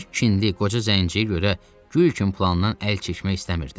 Bir kindi qoca zənciyə görə gül kimi plandan əl çəkmək istəmirdi.